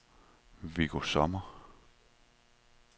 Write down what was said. Viggo Sommer